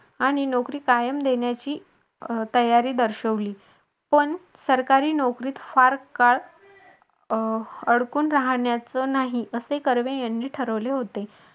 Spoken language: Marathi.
आणि नोकरी कायम देण्याची तयारी दर्शवली पण सरकारी नोकरीत फार काळ अडकून राहायचं नाही असे कर्वे यांनी ठरवले होते.